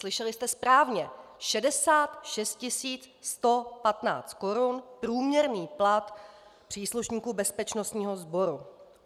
Slyšeli jste správně: 66 115 korun průměrný plat příslušníků bezpečnostního sboru.